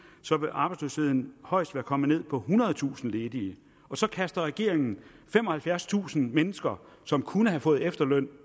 så vil arbejdsløsheden højst være kommet ned på ethundredetusind ledige så kaster regeringen femoghalvfjerdstusind mennesker som kunne have fået efterløn